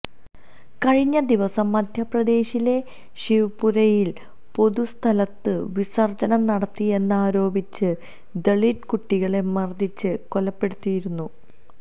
കഴിഞ്ഞ ദിവസം മധ്യപ്രദേശിലെ ശിവ്പുരിയില് പൊതുസ്ഥലത്ത് വിസര്ജനം നടത്തിയെന്നാരോപിച്ച് ദലിത് കുട്ടികളെ മര്ദ്ദിച്ച് കൊലപ്പെടുത്തിയിരുന്നു